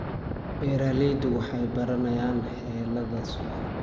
Beeraleydu waxay baranayaan xeeladaha suuqa.